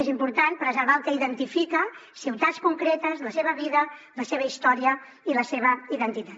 és important preservar el que identifica ciutats concretes la seva vida la seva història i la seva identitat